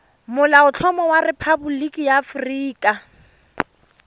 molaotlhomo wa rephaboliki ya aforika